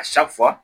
A